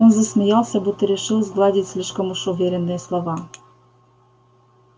он засмеялся будто решил сгладить слишком уж уверенные слова